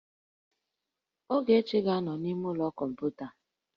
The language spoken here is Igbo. Ogechi ga-anọ n'ime ụlọ kọmputa